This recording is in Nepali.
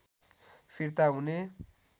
फिर्ता हुने